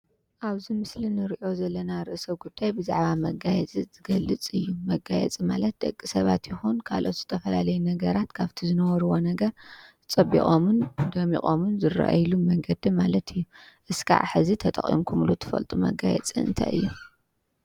ኣብዚ ምስሊ ንሪኦ ዘለና ርእሰ ጉዳይ መጋየፂ ዝገልፅ እዩ። መጋየፂ ማለት ደቂ ሰባት ይኩን ካልኦት ዝተፈላለዩ ነገራት ካብቲ ዝነበርዎ ነገር ፀቢቆምን ደሚቆምን ዝረኣይሉ መንገዲ ማለት እዩ:: እስካብ ሕዚ ተጠቂምኩምሉ ትፈልጡ መጋየፂ እንታይ እዩ ?